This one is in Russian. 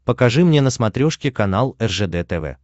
покажи мне на смотрешке канал ржд тв